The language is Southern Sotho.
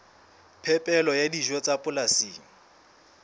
phepelo ya dijo tsa polasing